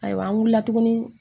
Ayiwa an wulila tuguni